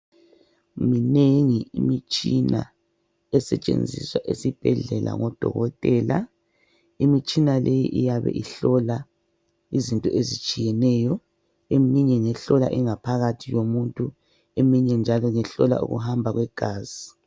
Minengi imitshina esetshenziswa ngodokotela ezibhedlela. Ikhona ehlola ingaphakathi komuntu. Ibekhona ehlola igazi. Kalivikwa elithi ihlola okutshiyetshiyeneyo.